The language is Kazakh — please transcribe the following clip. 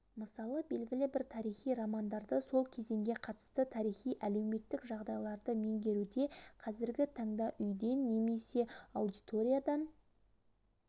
мысалы белгілі бір тарихи романдарды сол кезеңге қатысты тарихи-әлеуметтік жағдайларды меңгеруде қазіргі таңда үйден немесе аудиториядан